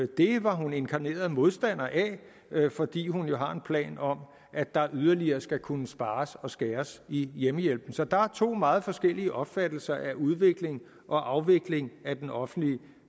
det var hun inkarneret modstander af fordi hun jo har en plan om at der yderligere skal kunne spares og skæres i hjemmehjælpen så der er to meget forskellige opfattelser af udvikling og afvikling af den offentlige